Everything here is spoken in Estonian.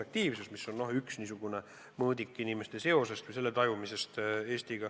See on üks mõõdik, mis iseloomustab seda, kuidas inimesed tajuvad oma sidet Eestiga.